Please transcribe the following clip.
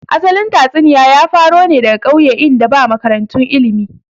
Asalin tatsuniya ya faro ne daga ƙauye in da ba makarantu ilmi